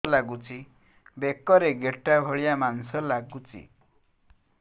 ବେକରେ ଗେଟା ଭଳିଆ ମାଂସ ଲାଗୁଚି